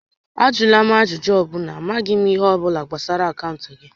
Ajụla m ajụjụ ọ bụla, a maghị m ihe ọ bụla gbasara akaụntụ gị!